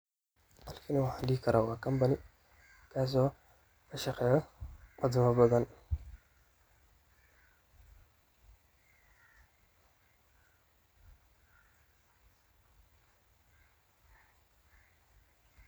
Kani waxaan dhihi karaa waa company kasoo ka shaqeeyo farsama badan.